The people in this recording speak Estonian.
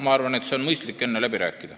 Ma arvan, et on mõistlik enne läbi rääkida.